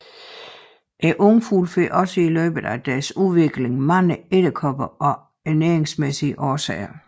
Ungfuglene får også i løbet af deres udvikling mange edderkopper af ernæringsmæssige årsager